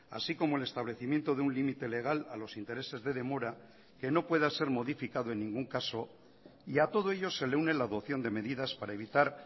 así como el establecimiento de un límite legal a los intereses de demora que no pueda ser modificado en ningún caso y a todo ello se le une la adopción de medidas para evitar